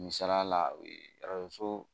Misaliya la so